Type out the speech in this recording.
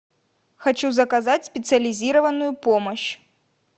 хочу заказать специализированную помощь